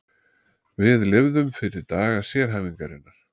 Við lifðum fyrir daga sérhæfingarinnar.